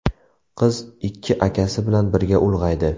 Qiz ikki akasi bilan birga ulg‘aydi.